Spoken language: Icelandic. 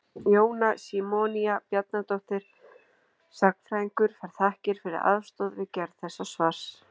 Jóna Símonía Bjarnadóttir sagnfræðingur fær þakkir fyrir aðstoð við gerð þessa svars.